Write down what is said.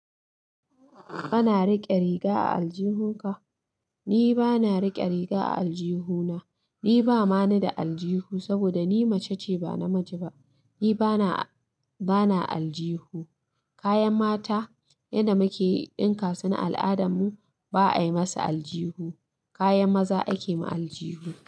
Kana riƙe riga a aljihu ka? Ni ba na riƙe riga a aljihu na. Ni ba ma na da aljihu saboda ni mace ce ba na miji ba. Ni ba na, ba na aljihu. Kayan mata, yanda muke ɗinka su na al'adar mu, ba a yi masa aljihu. Kayan maza ake ma aljihu.